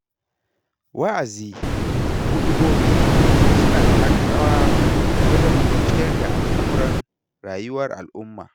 Wa'azi da Huɗubobi suna taka rawa wajen tafiyar da al'amuran rayuwar al'umma.